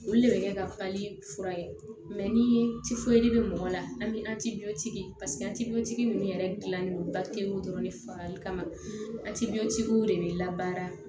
Olu de bɛ kɛ ka papiye fura ye ni bɛ mɔgɔ la an bɛ ninnu yɛrɛ gilan ni dɔrɔn de fara i kan de bɛ labaara